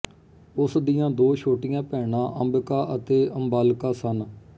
ਉਸ ਦੀਆਂ ਦੋ ਛੋਟੀਆਂ ਭੈਣਾਂ ਅੰਬਿਕਾ ਅਤੇ ਅੰਬਾਲਿਕਾ ਸਨ